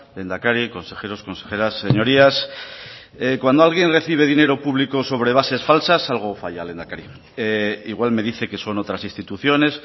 lehendakari consejeros consejeras señorías cuando alguien recibe dinero público sobre bases falsas algo falla lehendakari igual me dice que son otras instituciones